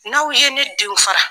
N'aw ye ne denw fara